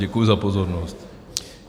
Děkuji za pozornost.